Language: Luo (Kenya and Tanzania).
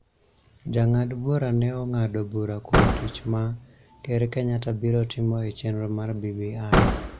Jong'ad bura ne ng�ado bura kuom tich ma Ker Kenyatta biro timo e chenro mar BBI.